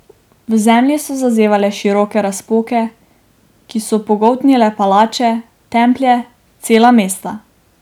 V zemlji so zazevale široke razpoke, ki so pogoltnile palače, templje, cela mesta.